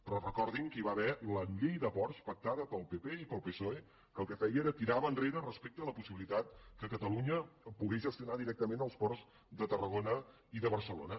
però recordin que hi va haver la llei de ports pactada pel pp i pel psoe que el que feia era tirar enrere la possibilitat que catalunya pogués gestionar directament els ports de tarragona i de barcelona